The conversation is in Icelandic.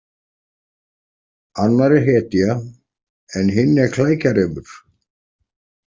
Annar er hetja en hinn er klækjarefur.